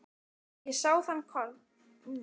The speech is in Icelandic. Ég sá þann kost vænstan að leggja fótgangandi af stað.